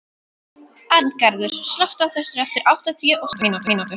Arngarður, slökktu á þessu eftir áttatíu og sjö mínútur.